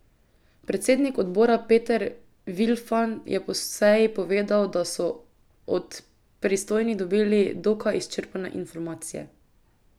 Predsednik odbora Peter Vilfan je po seji povedal, da so od pristojnih dobili dokaj izčrpne informacije.